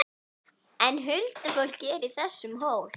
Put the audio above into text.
En huldufólkið er í þessum hól!